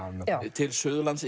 til Suðurlands